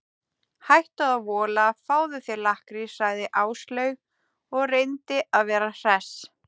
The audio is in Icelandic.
Hættu að vola, fáðu þér lakkrís sagði Áslaug og reyndi að vera hress.